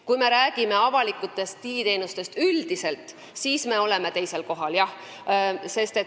Kui me räägime üldiselt avalikest digiteenustest, siis seal me oleme jah teisel kohal.